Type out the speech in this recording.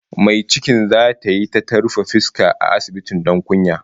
Mai cikin tace zata yi ta ta rufe fuska a asibiti don kunya